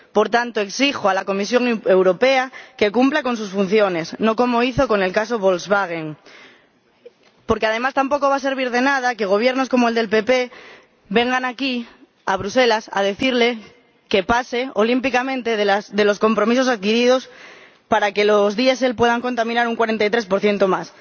Por tanto, exijo a la Comisión Europea que cumpla sus funciones, no como hizo con el caso Volkswagen. Porque, además, tampoco va a servir de nada que Gobiernos como el del PP vengan aquí, a Bruselas, a decirle que pase olímpicamente de los compromisos adquiridos para que los diésel puedan contaminar un 43 más.